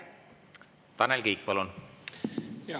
Tanel Kiik, palun!